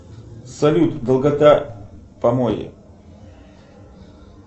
салют долгота помои